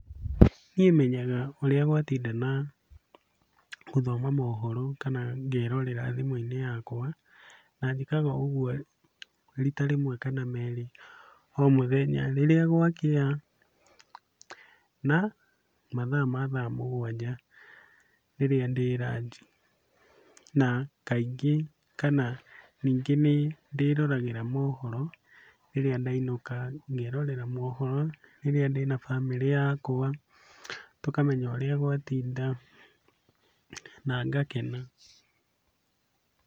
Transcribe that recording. Niĩ menyaga ũrĩa gwatinda na gũthoma mohoro kana ngerorera thimũ-inĩ yakwa , na njĩkaga ũguo rita rĩmwe kana merĩ o mũthenya, rĩrĩa gwakĩa na mathaa ma thaa mũgwanja rĩrĩa ndĩ ranji. Na, kaingĩ kana ningĩ nĩndĩroragĩra mohoro rĩrĩa ndainũka, ngerorera mohoro rĩrĩa ndĩna bamĩrĩ yakwa, tũkamenya ũrĩa gwatinda na ngakena.